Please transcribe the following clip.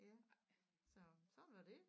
Ja så sådan var det